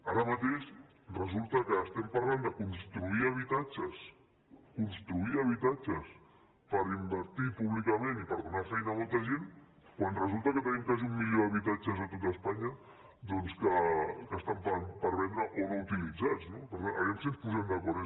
ara mateix resulta que estem parlant de construir habitatges construir habitatges per invertir públicament i per donar feina a molta gent quan resulta que tenim quasi un milió d’habitatges a tot espanya doncs que estan per vendre o no utilitzats no per tant a veure si ens posem d’acord